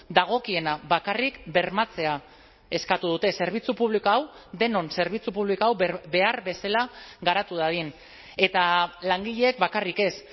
dagokiena bakarrik bermatzea eskatu dute zerbitzu publiko hau denon zerbitzu publiko hau behar bezala garatu dadin eta langileek bakarrik ez